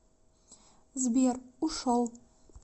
сбер ушел